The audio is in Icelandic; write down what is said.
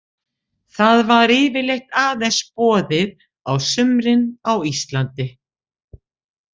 Það var yfirleitt aðeins boðið á sumrin á Íslandi.